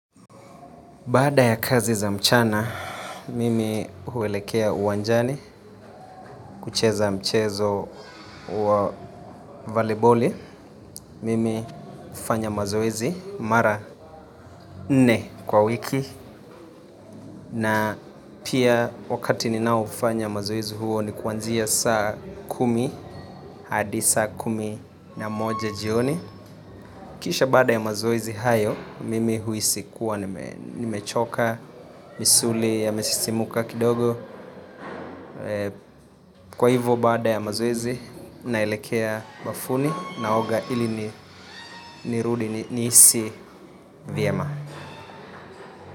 Baada ya kazi za mchana, mimi huelekea uwanjani, kucheza mchezo wa voliboli. Mimi hufanya mazoezi, mara nne kwa wiki, na pia wakati ninaoufanya mazoezi huo ni kuanzia saa kumi, hadi saa kumi na moja jioni. Kisha baada ya mazoezi hayo, mimi huisi kuwa, nimechoka, misuli, yamesisimuka kidogo. Kwa hivyo baada ya mazoezi, naelekea bafuni, naoga ili nirudi nihisi vyema.